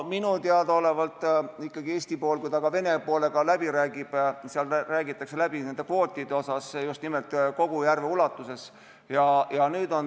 Minule teadaolevalt ikkagi, kui Eesti pool Vene poolega läbi räägib, siis räägitakse läbi neid kvoote just nimelt kogu järve ulatuses.